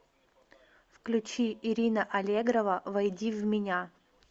включи ирина аллегрова войди в меня